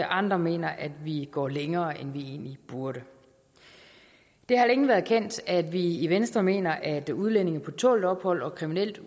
andre mener at vi går længere end vi egentlig burde det har længe været kendt at vi i venstre mener at udlændinge på tålt ophold og kriminelle